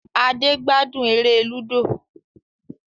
Ade gbádùn èrè ludo.